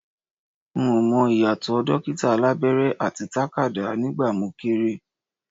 N ò mọ ìyàtọ̀ dókítà alábẹ́rẹ́ àti takadá nígbà mo kéré